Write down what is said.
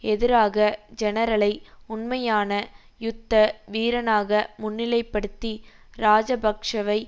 எதிராக ஜெனரலை உண்மையான யுத்த வீரனாக முன்னிலைப்படுத்தி இராஜபக்ஷவை